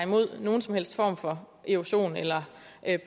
mod nogen som helst form for erosion eller